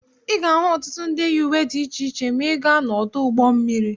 Ị ga-ahụ ọtụtụ ndị yi uwe dị iche iche ma ị gaa n'ọdụ ụgbọ mmiri.